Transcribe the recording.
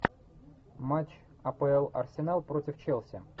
матч апл арсенал против челси